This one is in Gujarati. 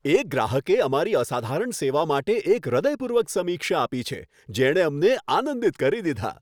એક ગ્રાહકે અમારી અસાધારણ સેવા માટે એક હૃદયપૂર્વક સમીક્ષા આપી છે, જેણે અમને આનંદિત કરી દીધાં.